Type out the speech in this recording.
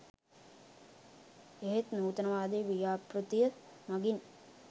ඒත් නූතනවාදී ව්‍යාපෘතිය මගින්